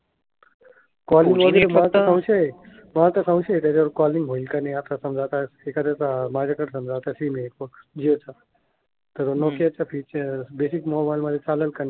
त्याच्यावर कॉलिंग होईल की नाही. आता समजा एखाद्याचा माझ्याकडे समजा तर तसंही नाही. बघ. जिओचा तर नोकियाचा फिचर बेसिक मोबाईल मध्ये चालेल की नाही.